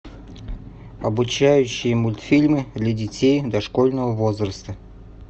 обучающие мультфильмы для детей дошкольного возраста